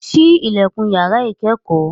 Ṣí ilẹ̀kùn yàrá ìkẹ́kọ̀ọ́